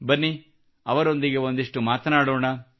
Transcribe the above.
ಬನ್ನಿ ಅವರೊಂದಿಗೆ ಒಂದಿಷ್ಟು ಮಾತನಾಡೋಣ